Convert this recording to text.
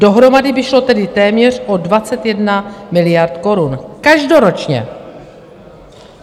Dohromady by šlo tedy téměř o 21 miliard korun - každoročně!